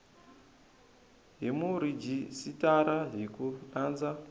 hi murhijisitara hi ku landza